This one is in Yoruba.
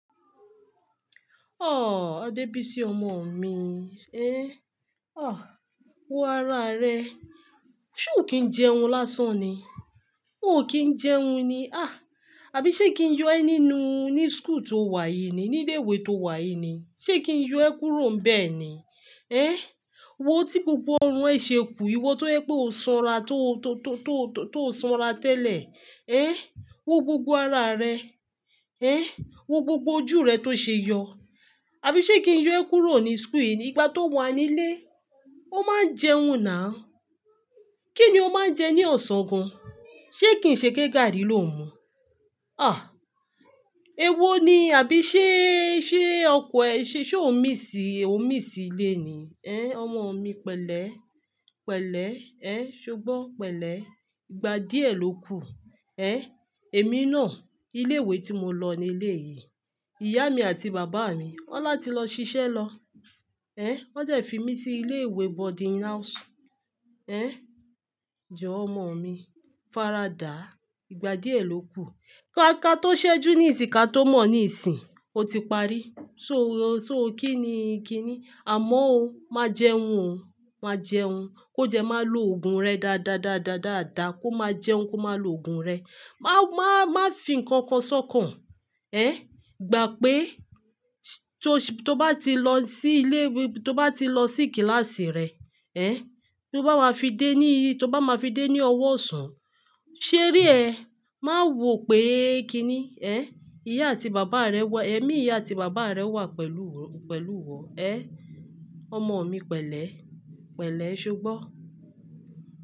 Ọ̀ọ́, Adebisi ọmọ mi, eh, ọ̀ọ́, wo ara rẹ, ṣe o kí ń jẹun lásán ni? Ó ò kí ń jẹun ni. Ah! Àbí ṣé kí ń yọ ẹ́ nínú ní school tó wà yìí ni? Ní ilé ìwé tó wà yìí ni? Ṣé kí ń yọ ẹ́ kúrò nbẹ́ ni? Ehn, wo tí gbogbo orun ẹ ṣe kú. Iwọ tó yẹ́ pé o sanra, tó, tó, tó, tó, tó sanra tẹ́lẹ̀. Ehn, wo gbogbo ara rẹ. Ehn, wo gbogbo ojú rẹ tó ṣe yọ. Àbí ṣé kí ń yọ ẹ́ kúrò ní school yìí nígbà tó wà nílé Ó máa ń jẹun ná. Kí ni o máa ń jẹ ní ọ̀sán gan? Ṣé kí n ṣe ké gàari ló n mú? Ah! Ewó ni. Àbí ṣé, ṣé ọkọ ẹ, ṣé ó ń míss, ó ń míss ilé ni? Ehn, ọmọ mi pẹ̀lẹ́, pẹ̀lẹ́, eh, ṣogbo pẹ̀lẹ́. Ìgbà díẹ̀ ló kù. Ehn, èmi náà, ilé ìwé tí mo lọ ni ilé yìí. Ìyá mi àti bàbá mi wọ́n láti lọ ṣiṣẹ́ lọ. Ehn, wọ́n dẹ fi mí sí ilé ìwé boarding house. Ehn, jọ̀ọ́ ọmọ mi faradà. Ìgbà díẹ̀ ló kù. Ka tó ṣẹ́jú ní ìsìyin, ka tó mọ̀ ní ìsìyin, ó ti parí. So, so kí ni, kí ni? Àmọ́ o, má jẹun o, má jẹun. Ko dẹ, má lo òògùn rẹ dáadáa, dáadáa, dáadáa. Ko máa jẹun ko máa lo òògùn rẹ. Ma, ma, má fi ǹkankan sọ́kàn. Ehn, gbà pé tó, tó bá ti lọ sí ilé ìwé, tó bá ti lọ sí kíláàsì rẹ, ehn, tó bá máa fi dé ní, tó bá máa fi dé ní ọwọ́ ọ̀sán, ṣé re ẹ? Má wò pé kí ni. Ehn, ìyá àti bàbá rẹ wà, èmi ìyá àti bàbá rẹ wà pẹ̀lú, pẹ̀lú iwọ. Ehn, ọmọ mi pẹ̀lẹ́, pẹ̀lẹ́ ṣubọ́.